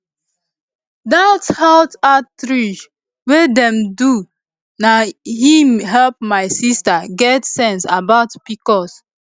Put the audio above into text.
dat health outreach wey dem do na him help my sister get sense about pcos